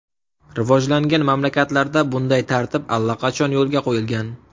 Rivojlangan mamlakatlarda bunday tartib allaqachon yo‘lga qo‘yilgan.